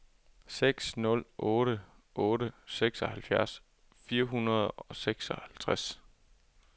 seks nul otte otte seksogfirs fire hundrede og seksoghalvtreds